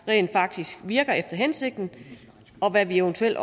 rent faktisk virker efter hensigten og hvad vi eventuelt